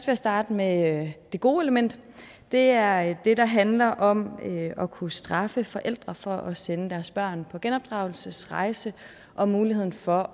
jeg starte med det gode element det er det der handler om at kunne straffe forældre for at sende deres børn på genopdragelsesrejse og muligheden for